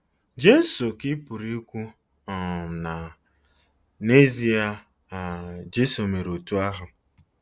Jesu, ' ka ị pụrụ ikwu - um na, n'ezie, um Jesu mere otú ahụ.